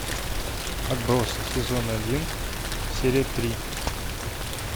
отбросы сезон один серия три